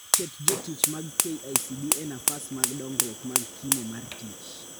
Ket jotich mag KICD e nafas mag dongruok mag kimo mar tich